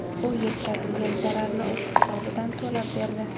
U yetkazilgan zararni o‘z hisobidan to‘lab berdi.